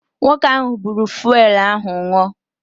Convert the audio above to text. Nwoke ahụ buuru fụelụ ahụ ṅụọ.